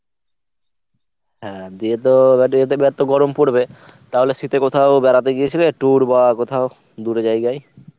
হ্যাঁ দিয়ে তো এত গরম পরবে তাহলে শীতে কোথাও বেড়াতে গিয়েছিলে tour বা কোথাও দূরে জায়গায়?